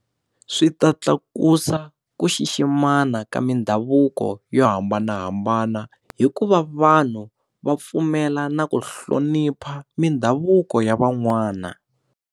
Swi ta tlakusa ku xiximana ka mindhavuko yo hambanahambana hikuva vanhu va pfumela na ku hlonipha mindhavuko ya van'wana.